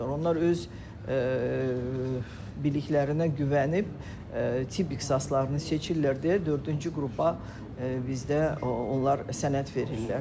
Onlar öz biliklərinə güvənib tibb ixtisaslarını seçirlər deyə dördüncü qrupa bizdə onlar sənəd verirlər.